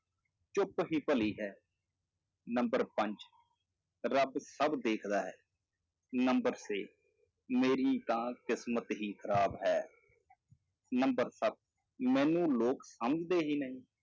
ਚੁੱਪ ਹੀ ਭਲੀ ਹੈ number ਪੰਜ ਰੱਬ ਸਭ ਦੇਖਦਾ ਹੈ number ਛੇ ਮੇਰੀ ਤਾਂ ਕਿਸ਼ਮਤ ਹੀ ਖ਼ਰਾਬ ਹੈ number ਸੱਤ ਮੈਨੂੰ ਲੋਕ ਸਮਝਦੇ ਹੀ ਨਹੀਂ।